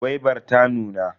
Gwaibar ta nuna.